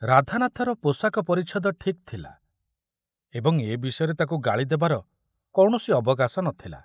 ରାଧାନାଥର ପୋଷାକ ପରିଚ୍ଛଦ ଠିକ ଥିଲା ଏବଂ ଏ ବିଷୟରେ ତାକୁ ଗାଳି ଦେବାର କୌଣସି ଅବକାଶ ନଥିଲା।